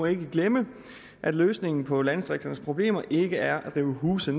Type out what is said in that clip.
ikke glemme at løsningen på landdistrikternes problemer ikke er at rive huse